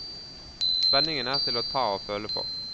Spenningen er til å ta og føle på.